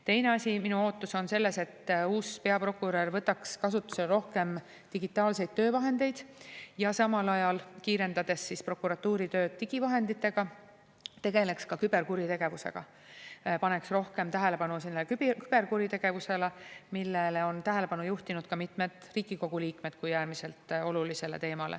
Teine asi, minu ootus on selles, et uus peaprokurör võtaks kasutusele rohkem digitaalseid töövahendeid ja samal ajal, kiirendades prokuratuuri tööd digivahenditega, tegeleks ka küberkuritegevuse ning rohkem tähelepanu küberkuritegevusele, millele kui äärmiselt olulisele teemale on tähelepanu juhtinud ka mitmed Riigikogu liikmed.